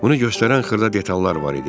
Bunu göstərən xırda detallar var idi.